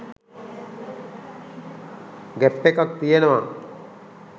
gap එකක් තියනව